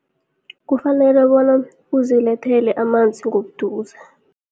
Kufanele bona uzilethele amanzi ngobuduze.